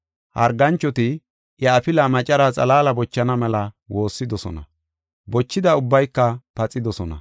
Harganchoti iya afila macaraa xalaala bochana mela woossidosona. Bochida ubbayka paxidosona.